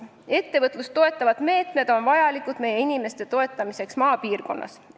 Ettevõtlust toetavad meetmed on vajalikud meie inimeste aitamiseks maapiirkonnas.